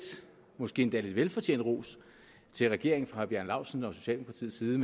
måske endda velfortjent ros til regeringen fra herre bjarne laustsen og socialdemokratiets side